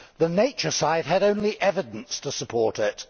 The nature side had only evidence to support it.